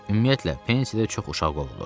Ümumiyyətlə pensiyada çox uşaq qovulur.